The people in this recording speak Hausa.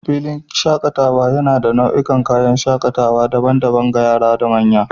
filin shakataea yana ba da nau'ikan kayan wasa daban-daban ga yara da manya.